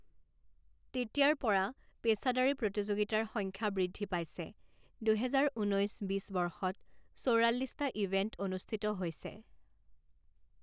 তেতিয়াৰ পৰা, পেছাদাৰী প্ৰতিযোগিতাৰ সংখ্যা বৃদ্ধি পাইছে, দুহেজাৰ ঊনৈছ বিছ বৰ্ষত চৌৰাল্লিছটা ইভেণ্ট অনুষ্ঠিত হৈছে।